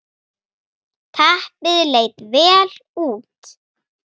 Teppið leit vel út.